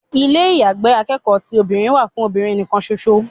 Ilé àyágbé akẹ́kọ̀ọ́ ti obìnrin wà fún obìnrin nì kan ṣo ṣo.